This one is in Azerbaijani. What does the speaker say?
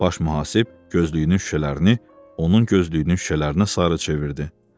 Baş mühasib gözlüyünün şüşələrini onun gözlüyünün şüşələrinə sarı çevirdi.